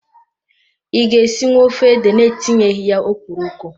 I ga-esinwu ofe ede na etinyeghi ya okporoko?